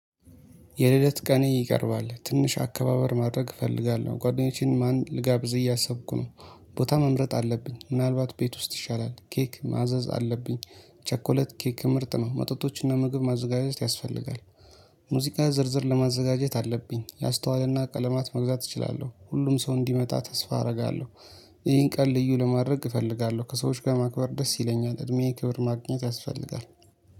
የልደት ቀኔ ይቀርባል ትንሽ አከባበር ማድረግ እፈልጋለሁ ጓደኞቼን ማን ልጋብዝ እያሰብኩ ነው። ቦታ መምረጥ አለብኝ ምናልባት ቤት ውስጥ ይሻላል ኬክ ማዘዝ አለብኝ። ቸኮሌት ኬክ ምርጥ ነው መጠጦችን እና ምግብ ማዘጋጀት ያስፈልጋል። ሙዚቃ ዝርዝር ለማዘጋጀት አለብኝ ያስተዋለና ቀለማት መግዛት እችላለሁ ሁሉም ሰው እንዲመጣ ተስፋ አደርጋለሁ። ይሄን ቀን ልዩ ለማድረግ እፈልጋለሁ ከሰዎች ጋር ማክበር ደስ ይለኛል እድሜዬ ክብር ማግኘት ያስፈልጋል